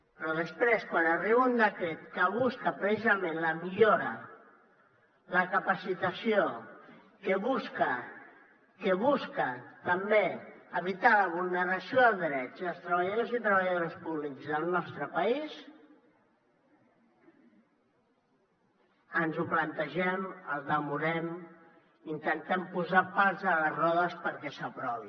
però després quan arriba un decret que busca precisament la millora la capacitació que busca també evitar la vulneració de drets dels treballadors i treballadores públics del nostre país ens ho plantegem el demorem intentem posar pals a les rodes perquè s’aprovi